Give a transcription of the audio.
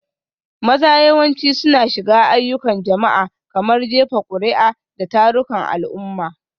Maza yawanci suna shiga ayyukan jama'a, kamar jefa kuri'a da tarukan al'umma.